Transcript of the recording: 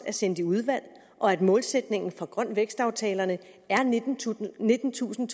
er sendt i udvalg og at målsætningen for grøn vækst aftalerne er nittentusind nittentusind